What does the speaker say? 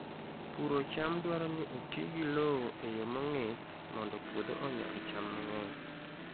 Puro cham dwaro ni oti gi lowo e yo mong'ith mondo puodho onyag cham mang'eny.